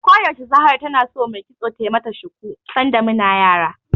Ko yaushe Zahra tana so mai kitso tai mata shuku, sanda muna yara.